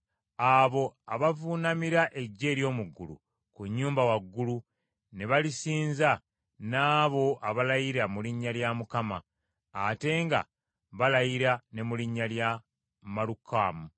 abo abavuunamira eggye ery’omu ggulu ku nnyumba waggulu, ne balisinza n’abo abalayira mu linnya lya Mukama , ate nga balayira ne mu linnya lya Malukamu,